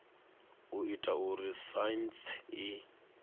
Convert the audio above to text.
u ita uri saintsi i